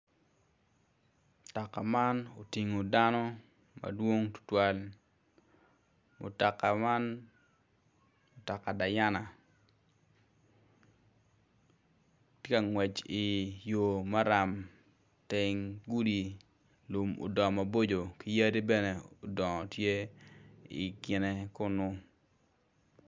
Mutoka man otingo dano madwong tutwal mutoka man mutoka dayana tye ka ngwec i yo maram teng lum odongo maboco ki yadi bene odongo tye i kine kenyu.